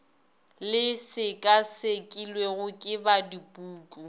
le sekasekilwego ke ba dipuku